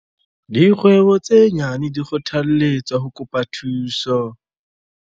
Dikgwebo tse nyane di kgothalletswa ho kopa thuso.